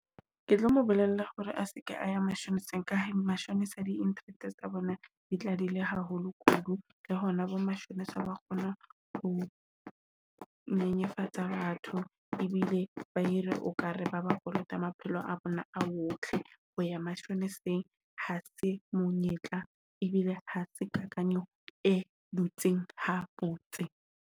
Ke tlo mo bolella hore a se ke a ya mashoneseng ka hore mashonesa di-interest tsa bona, di tla dile haholo kudu. Le hona bo mashome sa kgona ho nyenyefatsa batho ebile ba ere o ka re ba ba kolota maphelo a bona a otle ho ya mashoneseng ha se monyetla. E bile ha se kakanyo e dutseng ha botse.